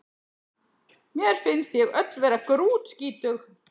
Mér finnst ég öll vera grútskítug